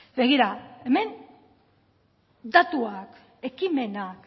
begira hemen datuak ekimenak